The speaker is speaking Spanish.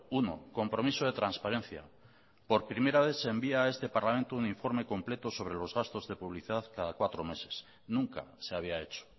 uno compromiso de transparencia por primera vez se envía a este parlamento un informe completo sobre los gastos de publicidad cada cuatro meses nunca se había hecho